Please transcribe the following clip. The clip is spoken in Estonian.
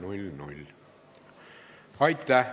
Aitäh!